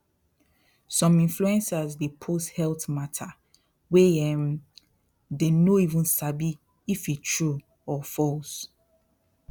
some influencers dey post health matter wey um dey no even sabi if e true or false